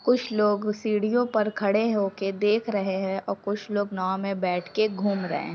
कुछ लोग सिडिओ पे खड़े होकर देख रहे है और कुछ लोग नांव मे बैठ के घूम रहे है।